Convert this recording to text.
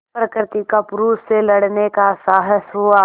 प्रकृति का पुरुष से लड़ने का साहस हुआ